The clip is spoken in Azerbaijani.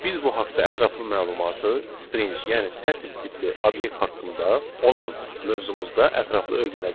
Biz bu haqda ətraflı məlumatı string, yəni sətr tipli obyekt haqqında olan mövzumuzda ətraflı öyrənəcəyik.